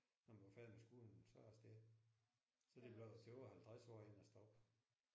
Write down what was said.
Når man var færdig med skolen så afsted. Så det blev det var 50 år inden jeg stoppede